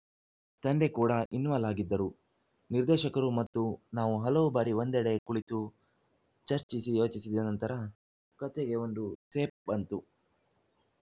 ತಂದೆ ಕೂಡ ಇನ್ವಾಲ್‌ ಆಗಿದ್ದರು ನಿರ್ದೇಶಕರು ಮತ್ತು ನಾವು ಹಲವು ಬಾರಿ ಒಂದೆಡೆ ಕುಳಿತು ಚರ್ಚಿಸಿ ಯೋಚಿಸಿದ ನಂತರ ಕತೆಗೆ ಒಂದು ಸೇಪ್‌ ಬಂತು